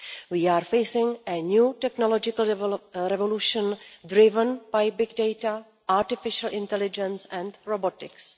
We are facing a new technological revolution driven by big data, artificial intelligence and robotics.